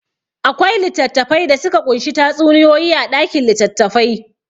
Akwai littattafai da suka ƙunshi tatsuniyoyi a ɗakin litattafai.